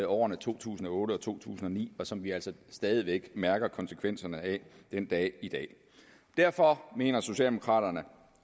årene to tusind og otte og to tusind og ni og som vi altså stadig væk mærker konsekvenserne af den dag i dag derfor mener socialdemokraterne